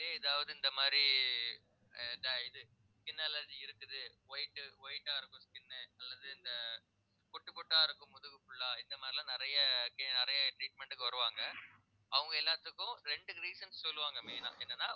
எதாவது இந்த மாதிரி அஹ் இந்த இது skin allergy இருக்குது white உ white ஆ இருக்கும் skin உ அல்லது இந்த புட்டு புட்டா இருக்கும் முதுகு full ஆ இந்த மாதிரி எல்லாம் நிறைய நிறைய treatment க்கு வருவாங்க அவங்க எல்லாத்துக்கும் இரண்டு reason சொல்லுவாங்க main ஆ என்னன்னா